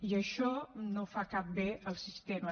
i això no fa cap bé al sistema